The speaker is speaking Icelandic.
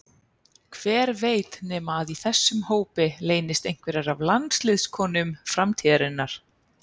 Hver veit nema að í þessum hópi leynist einhverjar af landsliðskonum framtíðarinnar?